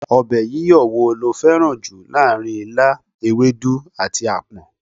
Ọbẹ̀ yíyọ wo lo fẹ́ràn jù láàárín ilá, ewedu, àti apon?